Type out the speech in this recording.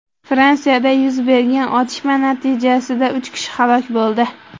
Fransiyada yuz bergan otishma natijasida uch kishi halok bo‘ldi.